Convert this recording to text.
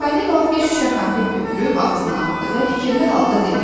Çipalino bir şüşə konfet götürüb ağzına atdı və fikirli halda dedi: